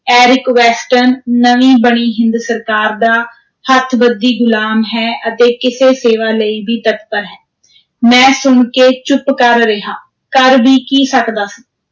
Eric Weston, ਨਵੀਂ ਬਣੀ ਹਿੰਦ ਸਰਕਾਰ ਦਾ, ਹੱਥਬੱਧੀ ਗ਼ੁਲਾਮ ਹੈ ਅਤੇ ਕਿਸੇ ਸੇਵਾ ਲਈ ਵੀ ਤਤਪਰ ਹੈ, ਮੈਂ ਸੁਣ ਕੇ ਚੁੱਪ ਕਰ ਰਿਹਾ, ਕਰ ਵੀ ਕੀ ਸਕਦਾ ਸੀ।